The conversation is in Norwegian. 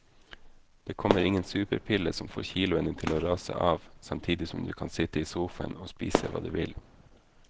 Det kommer ingen superpille som får kiloene til å rase av samtidig som du kan sitte i sofaen og spise hva du vil.